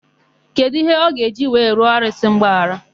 Kedụ íhé ọ ga-eji wee rịọ arụsị mgbaghara?